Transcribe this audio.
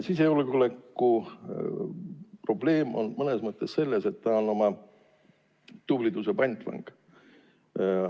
Sisejulgeoleku probleem on mõnes mõttes see, et ta on oma tubliduse pantvang.